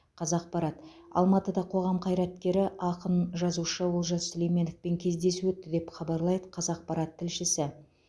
қазақпарат алматыда қоғам қайраткері ақын жазушы олжас сүлейменовпен кездесу өтті деп хабарлайды қазақпарат тілшісі